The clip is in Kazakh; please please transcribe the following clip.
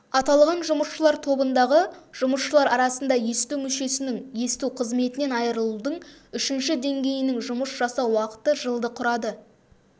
аталған жұмысшылар тобындағы жұмысшылар арасында есту мүшесінің есту қызметінен айырылудың үшінші деңгейінің жұмыс жасау уақыты жылды құрады